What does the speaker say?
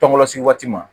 Tɔŋɔ se waati ma